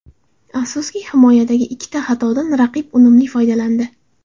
Afsuski, himoyadagi ikkita xatodan raqib unumli foydalandi.